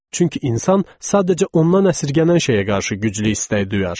Çünki insan sadəcə ondan əsərgənən şeyə qarşı güclü istək duyar.